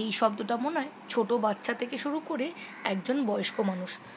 এই শব্দটা মনে হয় ছোট বাচ্চা থেকে শুরু করে একজন বয়স্ক মানুষ